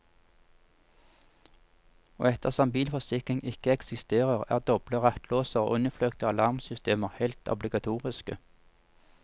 Og ettersom bilforsikring ikke eksisterer, er doble rattlåser og innfløkte alarmsystemer helt obligatoriske.